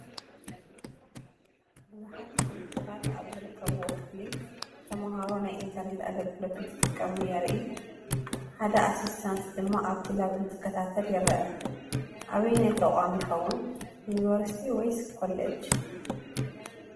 ብዙሓት ኮምፒተራት ኣብ ዝርከብዎ ክፍሊ ተመሃሮ ናይ ኢንተርኔት ኣገልግሎት እንትጥቀሙ የርኢ፡፡ ሓደ ኣሲስታስ ድማ ኣብቲ ላብ እንትከታተል ይረአ፡፡ ኣበየናይ ተቋም ይኸውን(ዩኒቨርስቲ ወይስ ኮሌጅ)?